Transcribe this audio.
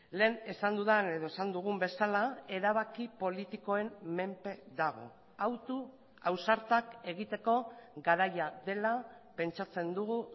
lehen esan dudan edo esan dugun bezala erabaki politikoen menpe dago autu ausartak egiteko garaia dela pentsatzen dugu